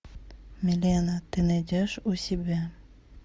милена ты найдешь у себя